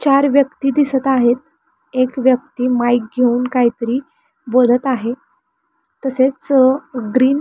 चार व्यक्ति दिसत आहेत एक व्यक्ति माइक घेऊन काहीतरी बोलत आहे तसेच अ ग्रीन --